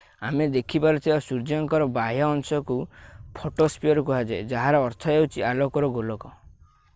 ଆମେ ଦେଖିପାରୁଥିବା ସୂର୍ଯ୍ୟଙ୍କର ବାହ୍ୟ ଅଂଶକୁ ଫଟୋସ୍ପିୟର କୁହାଯାଏ ଯାହାର ଅର୍ଥ ହେଉଛି ଆଲୋକର ଗୋଲକ